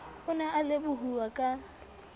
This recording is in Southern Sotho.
o ne a lebohuwa ka